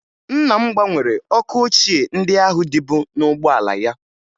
Nna m gbanwere ọkụ ochie ndị ahụ dịbu n'ụgbọala ya